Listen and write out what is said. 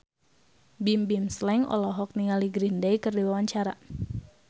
Bimbim Slank olohok ningali Green Day keur diwawancara